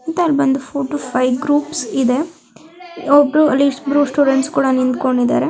ಇಲ್ಲಿ ಬಂದು four to five groups ಇದೆ ಒಬ್ರು ಆಲ್ಲಿ ಸ್ಟೂಡೆಂಟ್ಸ್ ಕೂಡ ನಿತ್ಕೊಂಡಿದಾರೆ.